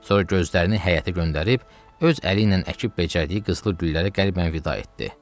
Sonra gözlərini həyətə göndərib, öz əli ilə əkib-becərdiyi qızılı güllərə qəlbdən vida etdi.